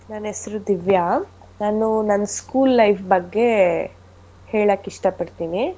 ನನ್ ಹೆಸ್ರು ದಿವ್ಯ ನಾನು ನನ್ school life ಬಗ್ಗೆ ಹೇಳಕ್ ಇಷ್ಟ ಪಡ್ತಿನಿ.